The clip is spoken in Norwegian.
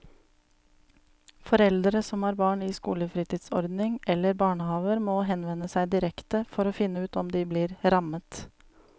Foreldre som har barn i skolefritidsordning eller barnehaver må henvende seg direkte for å finne ut om de blir rammet.